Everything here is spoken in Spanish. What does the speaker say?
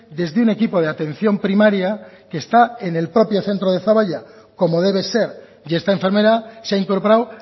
desde un equipo de atención primaria que está en el propio centro de zaballa como debe ser y esta enfermera se ha incorporado